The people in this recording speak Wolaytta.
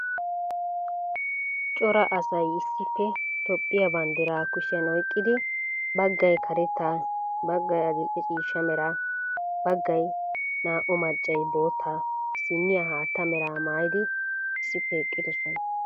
Cara assay issippe Toophphiyaa banddiraa kushiyan oyqqidi, baggay karetta, baggay adil"e ciishsha mera, baggay naa"u maccay bootta, issiniyaa haatta meraa mayyidi issippe eqqidosona.